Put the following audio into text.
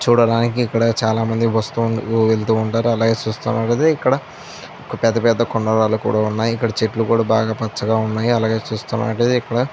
చూడడానికి ఇక్కడ చాల మంది వాస్తు ఉంటారు వెళ్తూఉంటారు అలాగే ఇక్కడ చూస్తున్నట్లైతే ఇక్కడ పెద్ద పెద్ద కొండలు కూడా ఉన్నాయ్ ఇక్కడ చెట్లు కూడా బాగా పచ్చగా ఉన్నాయ్ అలాగే చూస్తున్నట్లైతే ఇక్కడ --